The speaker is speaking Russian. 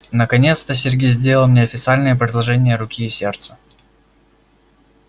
наконец-то сергей сделал мне официальное предложение руки и сердца